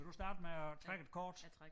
Vil du starte med at trække et kort?